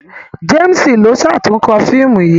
James ló ṣatunkọ fíìmù yí.